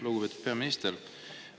Lugupeetud peaminister!